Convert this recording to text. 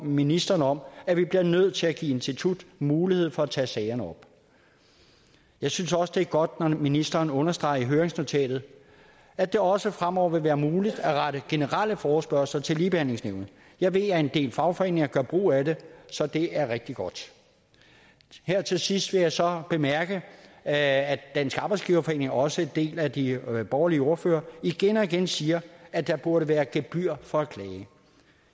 ministeren om at vi bliver nødt til at give instituttet mulighed for at tage sagerne op jeg synes også at det er godt når ministeren understreger i høringsnotatet at det også fremover vil være muligt at rette generelle forespørgsler til ligebehandlingsnævnet jeg ved at en del fagforeninger gør brug af det så det er rigtig godt her til sidst vil jeg så bemærke at dansk arbejdsgiverforening og også en del af de borgerlige ordførere igen og igen siger at der burde være gebyr for at klage